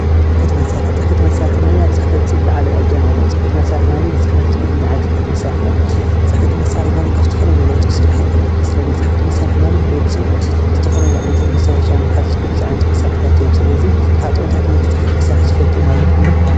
ፅሕፈት መሳርሒ ፅሕፈት መሳርሒ ማለት ዝለዓለ እጃም ኣለዎ ፅሕፈት መሳርሒ ማለት ንፅሕፈት ዝሕግዙናዓይነት መሳርሒ እዮም፡፡ ፅሕፈት መሳርሒ ማለት ካብ ዝተፈላለዩ ነገራት ክስራሕ ይክእል እዩ፡፡ ስለ እዚ ፅሕፈት መሳርሒ ማለት ወዲ ሰብ ዝተፈላለዩ ዓይነት መስታወሻ ንምሓዝን ዝሕግዙ ዓይነታት መሳርሒታት እዮም። ስለዚ ቅድሚ ሕዚ ፅሕፈት መሳርሒ ትፈልጥዎም ኣለኩምዶ?